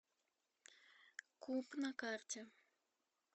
куб на карте